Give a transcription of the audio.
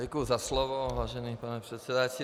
Děkuju za slovo, vážený pane předsedající.